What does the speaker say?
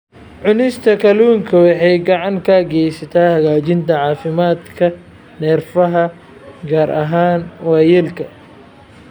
Cunista kalluunka waxay gacan ka geysataa hagaajinta caafimaadka neerfaha, gaar ahaan waayeelka.